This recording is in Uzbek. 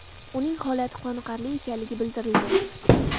Uning holati qoniqarli ekanligi bildirilgan.